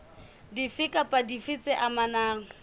dife kapa dife tse amanang